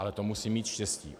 Ale to musím mít štěstí.